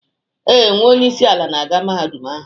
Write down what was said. Ee, nwa onye isi ala na-aga Mahadum ahu.